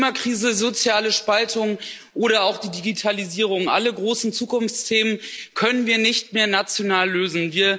Die Klimakrise, soziale Spaltung oder auch die Digitalisierung Alle großen Zukunftsthemen können wir nicht mehr national lösen.